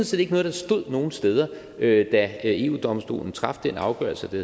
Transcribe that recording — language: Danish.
set ikke noget der stod nogen steder da eu domstolen traf den afgørelse det